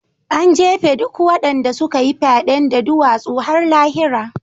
An jefe duk waɗanda suka yi fyaɗen da duwatsu har lahira.